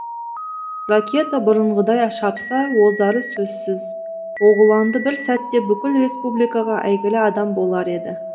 ракета бұрынғыдай шапса озары сөзсіз оғланды бір сәтте бүкіл республикаға әйгілі адам болар еді